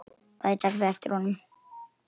Bæði taka þau eftir honum.